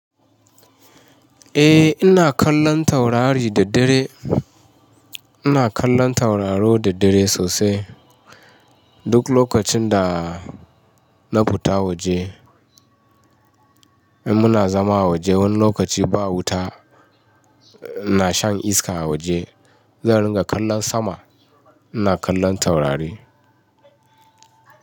Eh ina kallon taurari da dare. Ina kallon tauraro da dare sosai. Duk lokacin da na fita waje, muna zama a waje wani lokaci ba wuta, ina shan iska a waje, zan ringa kallon sama, ina kallon taurari.